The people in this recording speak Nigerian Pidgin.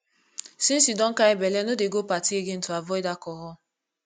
since you don carry bele no dey go party again to avoid alcohol